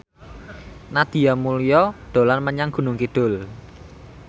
Nadia Mulya dolan menyang Gunung Kidul